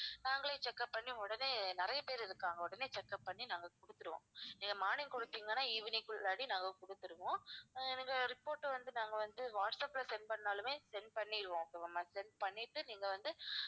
நாங்களே check up பண்ணி உடனே நிறைய பேர் இருக்காங்க உடனே check up பண்ணி நாங்க கொடுத்துடுவோம் நீங்க morning கொடுத்தீங்கன்னா evening குள்ளாடி நாங்க கொடுத்துடுவோம் ஆஹ் நீங்க report வந்து நாங்க வந்து வாட்ஸ்அப்ல send பண்ணாலுமே send பண்ணிடுவோம் okay வா ma'am send பண்ணிட்டு நீங்க வந்து